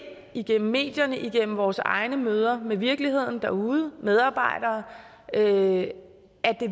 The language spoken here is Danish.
igennem medierne igennem vores egne møder med virkeligheden derude medarbejdere at det